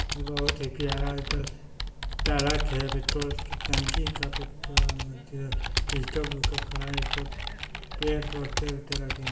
यह बहुत है प्यारा है ट्रक है पेट्रोल की टंकी का पेट्रोल खड़ा है पेड़ बहोत तरह तरह के है।